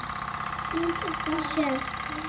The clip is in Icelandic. Eins og þú sérð.